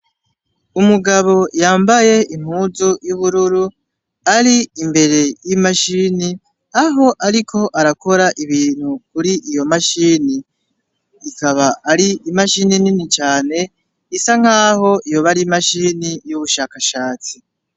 Umugabo yambaye impuzu y'ubururu, ari imbere y'imashini, aho ariko arakora ibintu kur'iyo mashini. Ikaba ari imashini nini cane isa nk'aho yoba ar'imashini y'ubushakashatsi.